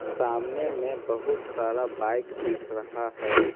सामने में बहुत सारा बाइक दिख रहा है।